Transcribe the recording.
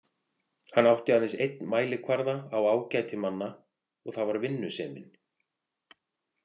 Hann átti aðeins einn mælikvarða á ágæti manna og það var vinnusemin.